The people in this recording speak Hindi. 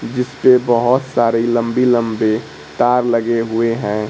जिस पे बहुत सारी लंबी लंबी तार लगे हुए हैं।